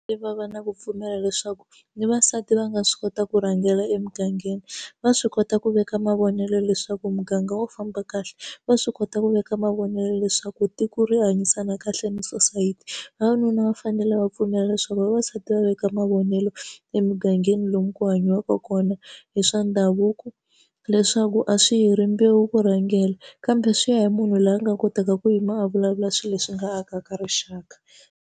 Va va na ku pfumela leswaku ni vavasati va nga swi kota ku rhangela emugangeni va swi kota ku veka mavonelo leswaku muganga wo famba kahle va swi kota ku veka mavonelo leswaku tiko ri hanyisana kahle na sosayiti vavanuna va fanele va pfumela leswaku vavasati va veka mavonelo emugangeni lomu ku hanyiwaka kona hi swa ndhavuko leswaku a swi hi rimbewu ku rhangela kambe swi ya hi munhu loyi a nga kotaka ku yima a vulavula swilo leswi nga akaka rixaka.